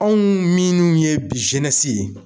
Anw minnu ye bi ye.